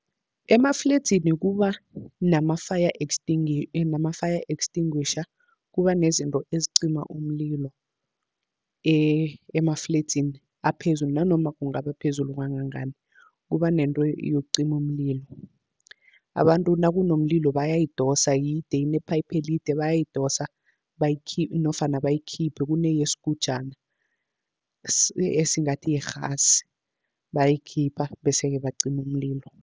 Emafledzini kuba nama-fire nama-fire extinguisher, kuba nezinto ezicima umlilo emafledzini aphezulu nanoma kungaba phezulu kangangani. Kuba nento yokucima umlilo, abantu nakunomlilo bayayidosa yide inephayiphu elide, bayayidosa nofana bayikhiphe, kuneyesgujana esingathi yirhasi bayayikhipha, bese-ke bacima umlilo.